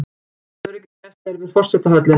Mikil öryggisgæsla er við forsetahöllina